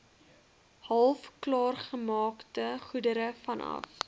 halfklaargemaakte goedere vanaf